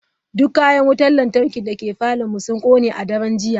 Duk Kayan Wutar Lantarki dake parlourn mu sun kone a daren jiya.